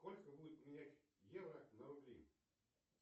сколько будет поменять евро на рубли